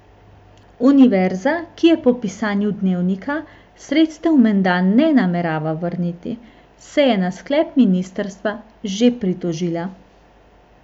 Univerza, ki po pisanju Dnevnika sredstev menda ne namerava vrniti, se je na sklep ministrstva že pritožila.